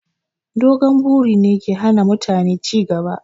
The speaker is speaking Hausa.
Dogon buri ne ke hana mutane ci gaba